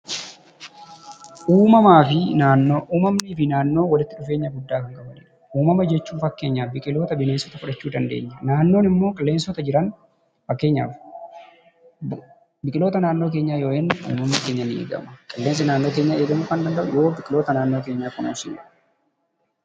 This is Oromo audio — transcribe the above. Uummanni fi naannoo walitti dhufeenya guddaa qabu. Uumamuma jechuun biqiloota bineensota fudhachuu dandeenya. Naannoon immoo qilleensota jiran biqiloota naannoo keenyaa yoo eegnu uummanni keenya ni eegama. Qilleensi naannoo keenyaa kan eegamu yoo biqiloota naannoo keenyaa kunuunsinedha.